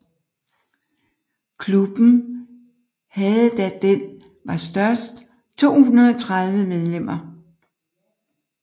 Klubben havde da den var størst 230 medlemmer